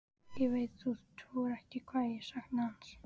Ég veit þú trúir ekki hvað ég sakna hans.